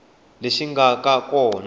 lexi nga va ka kona